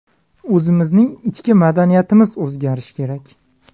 O‘zimizning ichki madaniyatimiz o‘zgarishi kerak.